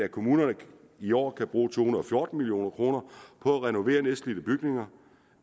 at kommunerne i år kan bruge to hundrede og fjorten million kroner på at renovere nedslidte bygninger